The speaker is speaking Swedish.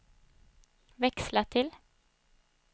växla till